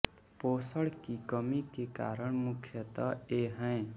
पोषण की कमी के कारण मुख्यतः ये हैं